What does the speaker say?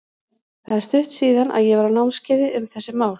Það er stutt síðan að ég var á námskeiði um þessi mál.